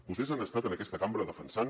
vostès han estat en aquesta cambra defensant